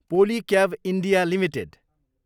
Polycab India Ltd